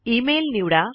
email निवडा